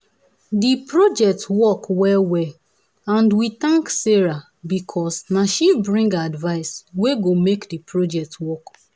the project work well well and we thank sarah because na she bring advice wey go make the project work